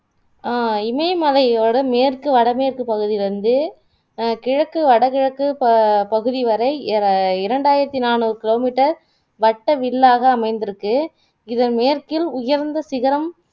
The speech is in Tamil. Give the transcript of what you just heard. அஹ் இமயமலையோட மேற்கு, வடமேற்கு பகுதி வந்து அஹ் கிழக்கு வடகிழக்கு பபகுதிவரை இர இரண்டாயிரத்துநாநூறு kilometer வட்ட வில்லாக அமைந்திருக்கு இதன் மேற்கில் உயர்ந்த சிகரம்